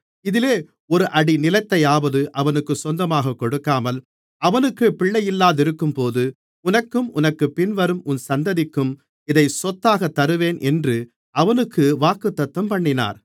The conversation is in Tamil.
இதிலே ஒரு அடி நிலத்தையாவது அவனுக்கு சொத்தாகக் கொடுக்காமல் அவனுக்குப் பிள்ளையில்லாதிருக்கும்போது உனக்கும் உனக்குப் பின்வரும் உன் சந்ததிக்கும் இதை சொத்தாகத் தருவேன் என்று அவனுக்கு வாக்குத்தத்தம்பண்ணினார்